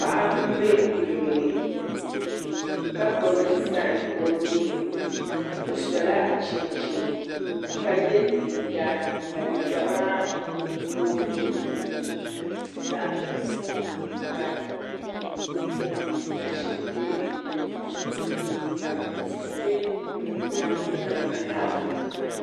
Paɣa n bɛ kuliga ni ka gbubi zaham o nuuni o sola chinchin ka yɛ liiga ka liiga maa boogi zaɣ dozim ka mashini bɛ kuliga puuni ka tihi bɛ kuliga maa nyaanga ha